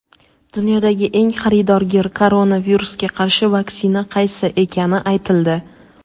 Dunyodagi eng xaridorgir koronavirusga qarshi vaksina qaysi ekani aytildi.